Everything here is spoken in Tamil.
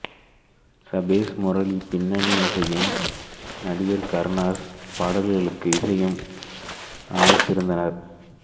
சபேஷ் முரளி பின்னனி இசையும் நடிகர் கருணாஸ் பாடல்களுக்கு இசையும் அமைத்திருந்தனர்